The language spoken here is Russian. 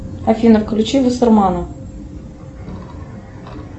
афина включи вассермана